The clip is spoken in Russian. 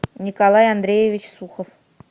николай андреевич сухов